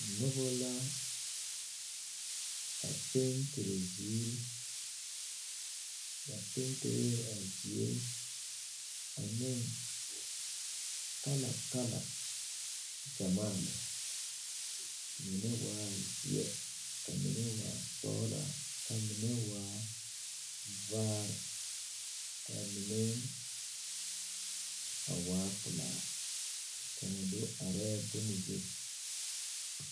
Noba la a pentere ziiri ba penteree a zie ane kalakala ɡyamaa lɛ mine waa zeɛ ka mine waa sɔɡelaa ka mine waa vaare ka mine a waa pelaa kaŋa do arɛɛ bon zu.